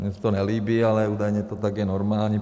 Mně se to nelíbí, ale údajně to tak je normální.